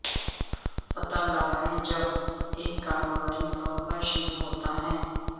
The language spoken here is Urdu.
پتہ لگائیں جب ایک کاروباری طور پر شروع ہوتا ہے